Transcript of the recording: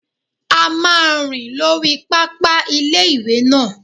A máa rìn lórí pápá ilé-ìwé náà